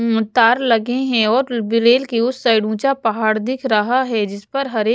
हम्म तार लगे हैं और रव रेल के उस साइड ऊँचा पहाड़ दिख रहा है जिस पर हरे --